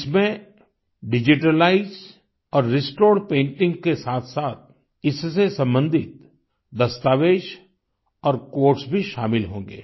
इसमें डिजिटलाइज्ड और restored painting के साथसाथ इससे सम्बंधित दस्तावेज़ और क्वोट्स भी शामिल होंगे